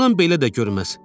Bundan belə də görməz.